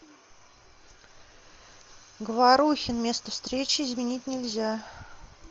говорухин место встречи изменить нельзя